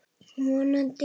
Vonandi úti líka.